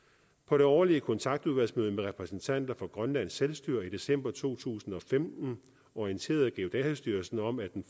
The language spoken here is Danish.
på det årlige kontaktudvalgsmøde med repræsentanter fra grønlands selvstyre i december to tusind og femten orienterede geodatastyrelsen om at den